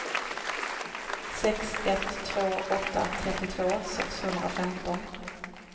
sex ett två åtta trettiotvå sexhundrafemton